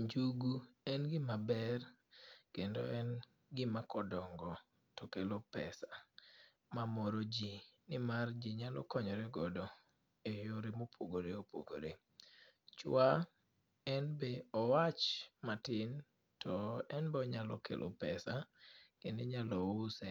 Njugu en gima ber, kendo en gima kodongo to kelo pesa. Ma moro ji, ni mar ji nyalo konyore godo e yore mopogore opogore. Chwa, en be owach matin, to en be onyalo kelo pesa, kendo inyalo use